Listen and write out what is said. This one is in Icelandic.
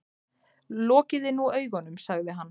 Lokiði nú augunum, sagði hann.